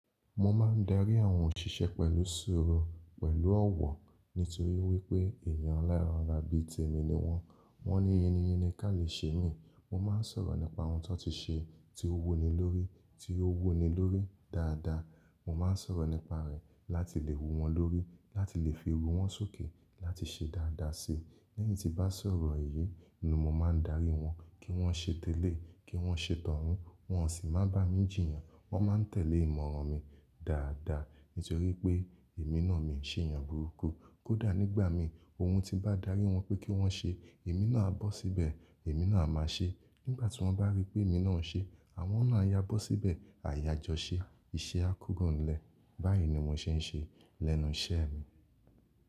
Mo máa ń darí àwọn òṣìṣẹ́ pẹ̀lú sùúrù, pẹ̀lú ọ̀wọ̀ nítorí wípé èèyàn eleran ara bí i témi ni wọ́n. Wọ́n ni yìnni yinni ká lè ṣe mí. Mo máa ń sọ̀rọ̀ nípa ohun tó ti ṣe, tí ó wuni lórí, tí ó wuni lórí dáadáa. Mo máa ń sọ̀rọ̀ nípa rẹ̀ láti lè wo wọn lórí, láti lè fi ooru wọn sókè, láti ṣe dáadáa si. Lẹ́yìn tí bá sọ̀rọ̀ èyí ni mo máa ń darí wọn kí wọ́n ṣe tẹ́lẹ̀, kí wọ́n ṣe tọ̀run. Wọn ò sì máa ń bá mi jìyàn. Wọ́n máa ń tẹ̀lé ìmọ̀ràn mi dáadáa nítorí pé èmi náà mi ò ṣe èèyàn burúkú. Kódà nígbà mi ohun tí bá darí wọn pé kí wọ́n ṣe, èmi náà a bọ́ síbẹ̀, èmi náà a máa ṣe. Nígbà tí wọ́n bá rí pé èmi náà ń ṣe, àwọn náà a yá bó síbẹ̀, a yá jọ ṣe, iṣẹ́ á kúrònlẹ̀. Báyìí ni mo ṣe ń ṣe lẹ́nu iṣẹ́ mi.